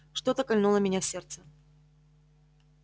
что-то кольнуло меня в сердце